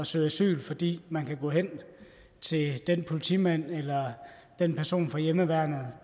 søge asyl fordi man kan gå hen til den politimand eller den person fra hjemmeværnet